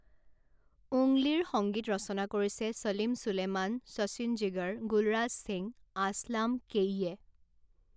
উংগলীৰ সংগীত ৰচনা কৰিছে ছলিম ছুলেমান শচীন জিগৰ গুলৰাজ সিং আছলাম কেয়ীয়ে।